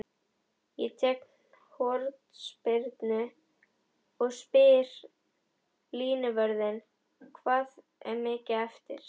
Ég tek hornspyrnu og spyr línuvörðinn hvað er mikið eftir?